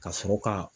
Ka sɔrɔ ka